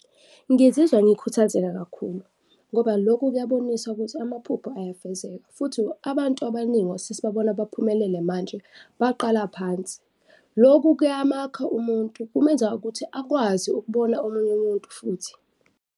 Ngizizwa ngikhuthazeka kakhulu ngoba lokhu kuyabonisa ukuthi amaphupho ayafezeka futhi abantu abaningi esesibabona baphumelele manje baqala phansi. Loku kuyamakha umuntu, kumenza ukuthi akwazi ukubona omunye umuntu futhi.